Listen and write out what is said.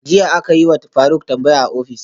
Jiya akayiwa faruk tambaya a office